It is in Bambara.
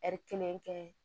kelen kɛ